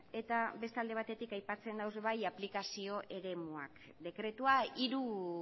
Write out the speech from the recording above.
eta beste alde batetik aipatzen dira ere bai aplikazio eremuak dekretua hiru